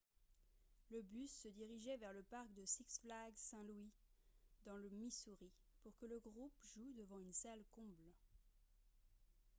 le bus se dirigeait vers le parc de six flags st. louis dans le missouri pour que le groupe joue devant une salle comble